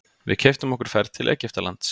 Við keyptum okkur ferð til Egyptalands.